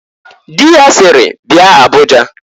Di ya siri, "Bia Abuja!"